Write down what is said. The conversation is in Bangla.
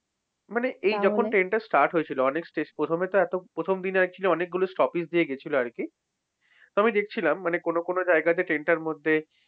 মানে এই যখন train টা start হয়েছিল প্রথমেতো এতো প্রথমদিন actually অনেকগুলো stoppers দিয়ে গিয়েছিল আরকি। তো আমি দেখছিলাম মানে কোন কোন জায়গাতে train টার মধ্যে,